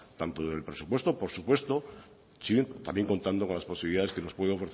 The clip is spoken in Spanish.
tanto del presupuesto por supuesto sí también contando con las posibilidades que nos puede